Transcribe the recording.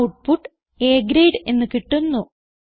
output A grade എന്ന് കിട്ടുന്നു